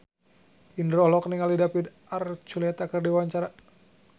Indro olohok ningali David Archuletta keur diwawancara